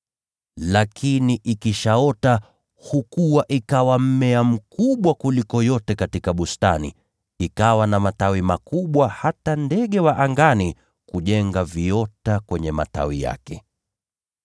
Lakini ikishaota, hukua ikawa mmea mkubwa kuliko yote ya bustanini, ikawa na matawi makubwa hata ndege wa angani wanaweza kujenga viota kwenye matawi yake.”